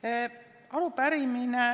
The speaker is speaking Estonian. Jaa, härra Jaanson, palun, protseduuriline küsimus!